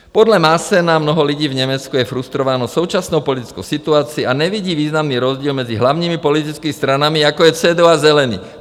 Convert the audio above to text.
Podle Maassena mnoho lidí v Německu je frustrováno současnou politickou situaci a nevidí významný rozdíl mezi hlavními politickými stranami, jako je CDU a Zelení.